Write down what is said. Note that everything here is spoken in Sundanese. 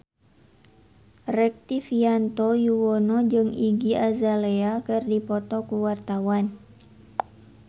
Rektivianto Yoewono jeung Iggy Azalea keur dipoto ku wartawan